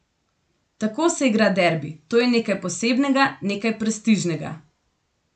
Tako se igra derbi, to je nekaj posebnega, nekaj prestižnega.